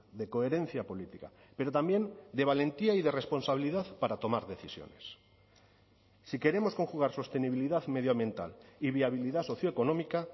de coherencia política pero también de valentía y de responsabilidad para tomar decisiones si queremos conjugar sostenibilidad medioambiental y viabilidad socioeconómica